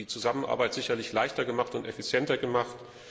Das hätte die Zusammenarbeit sicherlich leichter und effizienter gemacht.